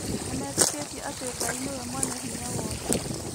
Metĩkĩtie atĩ Ngai nĩwe mwene hinya wothe.